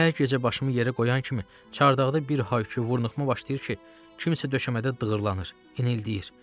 Hər gecə başımı yerə qoyan kimi çardaqda bir hay-küy, vurnuxma başlayır ki, kimsə döşəmədə dığırlanır, inildəyir.